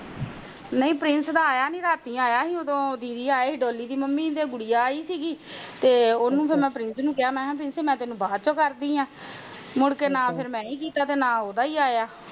ਨਹੀਂ ਪ੍ਰਿੰਸ ਦਾ ਫੋਨ ਨੀ ਆਯਾ ਰਾਤੀ ਆਯਾ ਸੀ ਤਾ ਦੀਦੀ ਆਏ ਸੀ ਡੌਲੀ ਦੀ ਮਮ੍ਮੀ ਆਏ ਸੀ ਤੇ ਗੁੜੀਆ ਆਇ ਸੀ ਤੇ ਉਹਨੂੰ ਮੈਂ ਪ੍ਰਿੰਸ ਨੂੰ ਕਿਹਾ ਪ੍ਰਿੰਸ ਮੈਂ ਤੈਨੂੰ ਬਾਅਦ ਵਿਚ ਕਰਦੀ ਆ ਮੁੜਕੇ ਨਾ ਮੈਂ ਕੀਤਾ ਨਾ ਉਹਦਾ ਆਯਾ